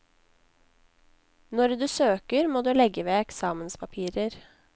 Når du søker må du legge ved eksamenspapirer.